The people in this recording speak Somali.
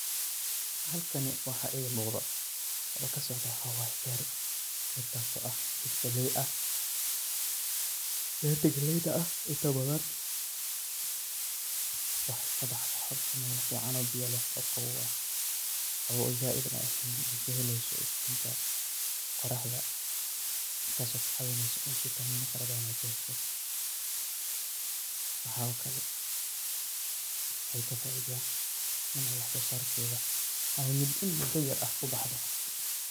Halkani waxaa iiga muqdo oo ka socdo waxaa waay beer. Beertaas oo ah gelay ah. Beerta gelayda ah inta badan waxay ka baxdaa horta meel ficaan oo biyo leh oo qabow ah. Qabow oo zaaidna eheen ay ka helayso iftiinka qoraxda taas oo ka caawinayso vitamin farabadan ay ka hesho. Waxaa oo kale ay ka faaida inay wax soo saarkeeda ay mudo in mudo yer ah ku baxdo.